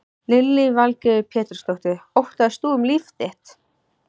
Lillý Valgerður Pétursdóttir: Óttaðist þú um líf þitt?